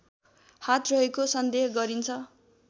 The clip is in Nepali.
हात रहेको सन्देह गरिन्छ